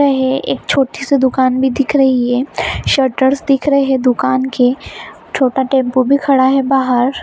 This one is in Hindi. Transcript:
बना है एक छोटी सी दुकान भी दिख रही है शूटर्स दिख रहे हैं दुकान के छोटा टेंपो भी खड़ा है बाहर--